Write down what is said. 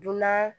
Dunan